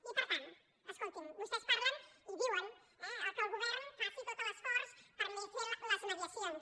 i per tant escoltin vostès parlen i diuen eh que el govern faci tot l’esforç per fer les mediacions